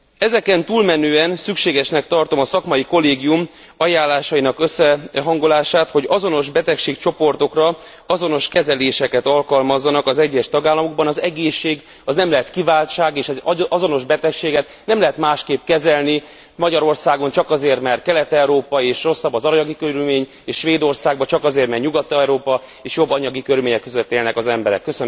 Ezeken túlmenően szükségesnek tartom a szakmai kollégium ajánlásainak összehangolását, hogy azonos betegségcsoportokra azonos kezeléseket alkalmazzanak az egyes tagállamokban. Az egészség az nem lehet kiváltság, és az azonos betegséget nem lehet másként kezelni Magyarországon csak azért, mert Kelet Európa és rosszabb az anyagi körülmény, és Svédországban csak azért mert Nyugat Európa és jobb anyagi körülmények között élnek az emberek.